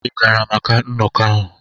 Ị gara maka nnọkọ ahụ?